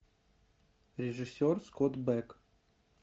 режиссер скотт бек